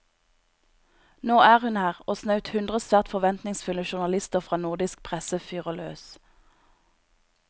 Nå er hun her, og snaut hundre svært forventningsfulle journalister fra nordisk presse fyrer løs.